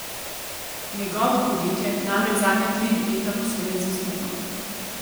Njegovo podjetje namreč zadnja tri leta posluje z izgubo.